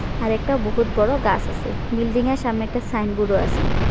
আর একটা বহুৎ বড়ো গাছ আসে বিল্ডিং য়ের সামনে একটা সাইনবোর্ড আসে।